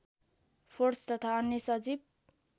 force तथा अन्य सजीव